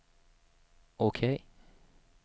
OK